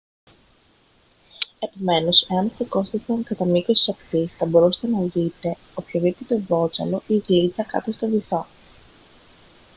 επομένως εάν στεκόσασταν κατά μήκος της ακτής θα μπορούσατε να δείτε οποιοδήποτε βότσαλο ή γλίτσα κάτω στον βυθό